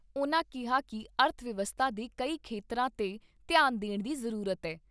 ਉਨ੍ਹਾਂ ਕਿਹਾ ਕਿ ਅਰਥ ਵਿਵਸਥਾ ਦੇ ਕਈ ਖੇਤਰਾਂ 'ਤੇ ਧਿਆਨ ਦੇਣ ਦੀ ਜ਼ਰੂਰਤ ਏ।